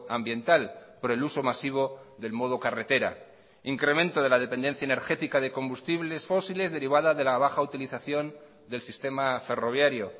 ambiental por el uso masivo del modo carretera incremento de la dependencia energética de combustibles fósiles derivada de la baja utilización del sistema ferroviario